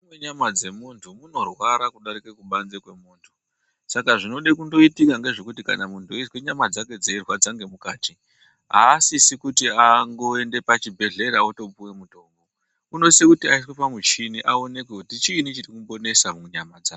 Mukati menyama dzemuntu munorwara kudarike kubanze kwemuntu, saka zvinode kundoitika ngezvekuti kana muntu eizwe nyama dzake dzeirwadza ngemukati, haasisi kuti angoende pachibhedhlera otopiwa mitombo. Unosise kuti aiswe pamuchini aonekwe kuti chiini chirikumbonetsa munyama dzakwe.